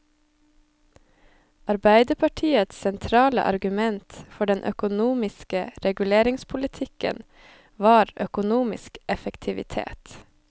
Arbeiderpartiets sentrale argument for den økonomiske reguleringspolitikken var økonomisk effektivitet.